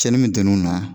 Cɛnni min don n'u na